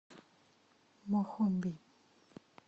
мохомби